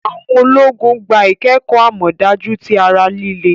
Awọn ọmọ-ogun gbá ikẹkọ amọdaju ti ará líle